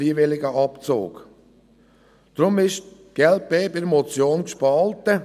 Deshalb ist die glp bei der Motion gespalten.